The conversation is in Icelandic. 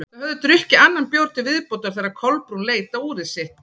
Þau höfðu drukkið annan bjór til viðbótar þegar Kolbrún leit á úrið sitt.